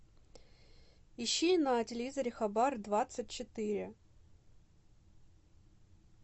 ищи на телевизоре хабар двадцать четыре